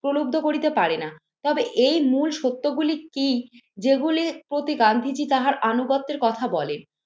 প্রলুব্ধ করিতে পারে না। তবে এই মূল সত্যগুলি কি যেগুলির প্রতি গান্ধীজী তাহার আনুগত্যের কথা বলেন।